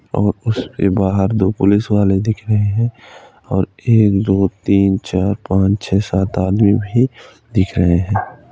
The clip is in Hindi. और उसके बाहर दो पुलिस वाले दिख रहे हैं और एक दो तीन चार पांच छः सात आदमी भी दिख रहे हैं।